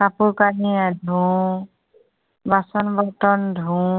কাপোৰ কানি ধোঁও। বাচন বৰ্তন ধোঁও।